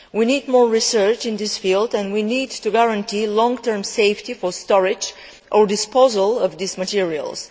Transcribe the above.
We need more research in this field and we need to guarantee the long term safety of storage or disposal of these materials.